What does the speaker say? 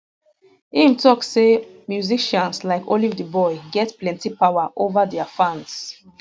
im tok say musicians like olivetheboy get plenti power ova dia fans um